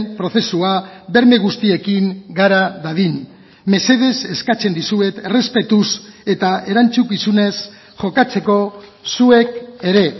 prozesua berme guztiekin gara dadin mesedez eskatzen dizuet errespetuz eta erantzukizunez jokatzeko zuek ere